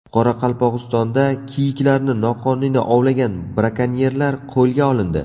Qoraqalpog‘istonda kiyiklarni noqonuniy ovlagan brakonyerlar qo‘lga olindi.